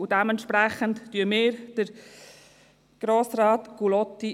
Dementsprechend wählen wir Grossrat Gullotti.